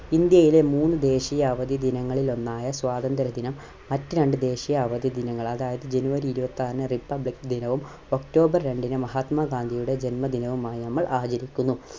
ഇന്ത്യയിലെ മൂന്ന് ദേശീയ അവധി ദിനങ്ങളിൽ ഒന്നായ സ്വാതന്ത്ര്യ ദിനം മറ്റ് രണ്ട് ദേശീയ അവധി ദിനങ്ങൾ അതായത് january ഇരുപത്തിആറിന് Republic ദിനവും October രണ്ടിന് മഹാത്മ ഗാന്ധിയുടെ ജന്മദിനവുമായി നമ്മൾ ആചരിക്കുന്നു.